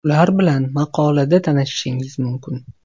Ular bilan maqolada tanishishingiz mumkin.